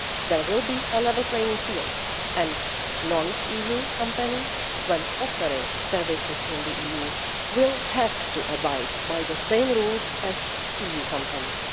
There will be a level playing field, and non-EU companies, when offering services in the EU, will have to abide by the same rules as EU companies.